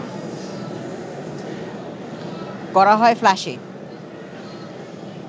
করা হয় ফ্ল্যাশে